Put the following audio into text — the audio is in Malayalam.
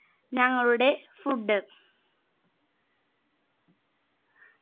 ഞങ്ങളുടെ food